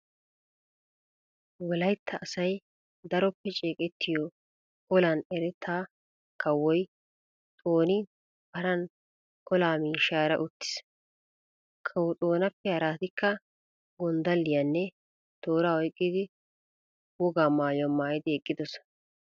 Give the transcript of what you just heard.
Wolaytta asay daroppe ceeqettiyo olan eretta kawoy Xooni paran olaa miishshaara uttiis. Kawo Xoonappe haraatikka gonddalliyanne tooraa oyqqidi wogaa maayuwa maayidi eqqidosona.